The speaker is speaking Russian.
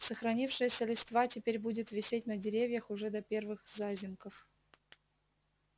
сохранившаяся листва теперь будет висеть на деревьях уже до первых зазимков